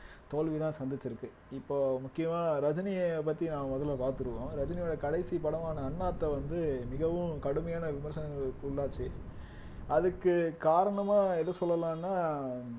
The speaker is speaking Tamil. தோல்விதான் சந்திச்சிருக்கு இப்போ முக்கியமா ரஜினிய பத்தி நாம முதல்ல பார்த்திருவோம் ரஜினியோட கடைசி படமான அண்ணாத்த வந்து மிகவும் கடுமையான விமர்சனங்களுக்கு உள்ளாச்சு அதுக்கு காரணமா எது சொல்லலாம்னா